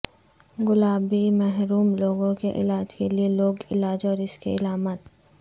گلابی محروم لوگوں کے علاج کے لئے لوک علاج اور اس کے علامات